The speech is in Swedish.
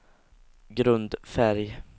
grundfärg